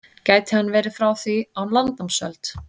Gæti hann verið frá því á landnámsöld?